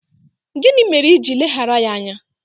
Gịnị mere iji ileghara ya anya?